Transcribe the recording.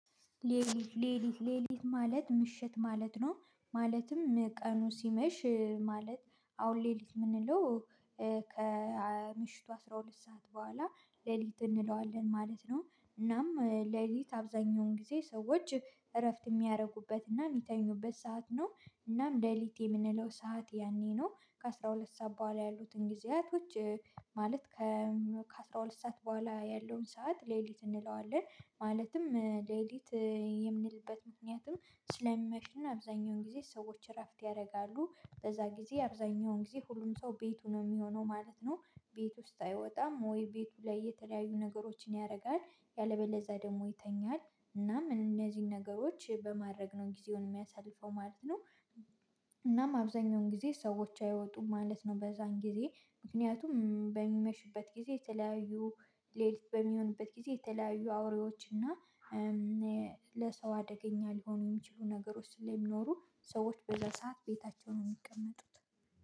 ሌሊት ሌሊት ሌሊት ማለት ምሽት ማለት ነው። ማለትም ቀኑ ሲመሽ ማለት አሁን ሌሊት የምንለው ከምሽቱ አስራ ሁለት ሰዓት በኋላ ሌሊት እንለዋለን ማለት ነው። እናም ሌሊት አብዛኛውን ጊዜ ሰዎች እረፍት የሚያደርጉበት እና የሚተኙበት ሰዓት ነው። እናም ሌሊቲ የምንለው ሰዓት ያኔ ነው። ከአሥራ ሁለት ሰዓት በኋላ ያሉትን ጊዜያቶች ማለት ከ ከአሥራ ሁለት ሰዓት በኋላ ያለውን ሰዓት ሌሊት እንለዋለን። ማለትም ሌሊት የምንልበት ምክንያትም ስለሚመሽ እና አብዛኛውን ጊዜ ሰዎች እረፍት ያደርጋሉ። በዛ ጊዜ አብዛኛውን ጊዜ ሁሉም ሰው ቤቱ ነው የሚሆነው ማለት ነው። ቤት ውስጥ አይወጣም ወይ ቤቱ ላይ የተለያዩ ነገሮችን ያደርጋል። ያለበለዛ ደግሞ ይተኛል እና እነዚህን ነገሮች በማድረግ ነው ጊዜውን የሚያሳልፈው ማለት ነው። እናም አብዛኛውን ጊዜ ሰዎች አይወጡም ማለት ነው። በዛን ጊዜ ምክንያቱም በሚመሽበት ጊዜ የተለያዩ ሌሊት በሚሆንበት ጊዜ የተለያዩ አውሬዎች እና ለሰው አደገኛ ሊሆኑ የሚችሉ ነገሮች ስለሚኖሩ ሰዎች በዛ ሰዓት ቤታቸውን ነው የሚቀመጡት።